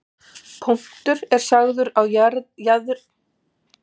Punktur er sagður á jaðri þríhyrnings, ef hann er á einhverri hlið hans.